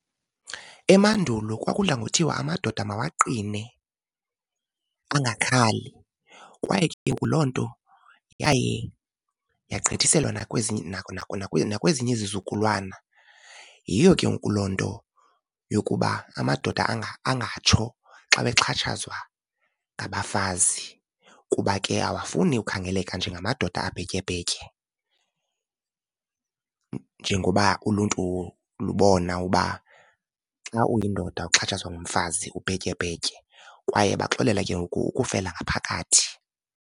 Emandulo kwakudla ngothiwa amadoda mawaqine angakhali kwaye ke ngoku loo nto yaye yagqithiselwa nakwezinye izizukulwana. Yiyo ke ngoku loo nto yokuba amadoda angatsho xa bexhatshazwa ngabafazi. Kuba ke awafuni ukhangeleka njengamadoda abhetyebhetye njengoba uluntu lubona uba xa uyindoda uxhatshazwa ngumfazi ubhetyebhetye kwaye baxolela ke ngoku ukufela ngaphakathi.